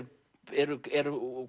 eru eru